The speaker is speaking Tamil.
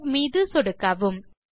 Saveமீது சொடுக்கவும்